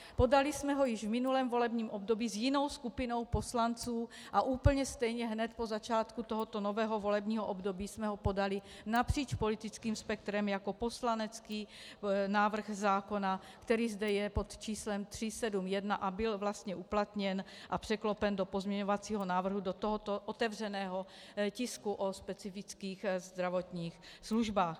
Podali jsme ho již v minulém volebním období s jinou skupinou poslanců a úplně stejně hned po začátku tohoto nového volebního období jsme ho podali napříč politickým spektrem jako poslanecký návrh zákona, který je zde pod číslem 371, a byl vlastně uplatněn a překlopen do pozměňovacího návrhu do tohoto otevřeného tisku o specifických zdravotních službách.